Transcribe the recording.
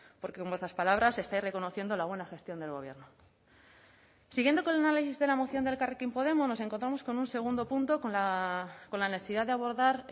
porque con vuestras palabras estáis reconociendo la buena gestión del gobierno siguiendo con de la moción de elkarrekin podemos nos encontramos con un segundo punto con la necesidad de abordar